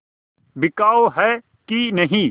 बिकाऊ है कि नहीं